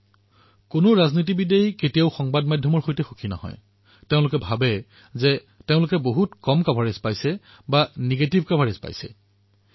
কোনো ৰাজনৈতিক ব্যক্তিয়েই সংবাদ মাধ্যমৰ সৈতে সুখী কেতিয়াও নহয় তেওঁলোকে ভাবে যে তেওঁলোকৰ প্ৰচাৰ কম হৈছে আৰু যি প্ৰচাৰ পায় সেয়াও ঋণাত্মক হয়